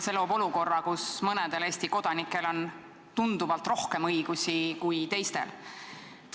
See loob olukorra, kus mõnedel Eesti kodanikel on tunduvalt rohkem õigusi kui teistel.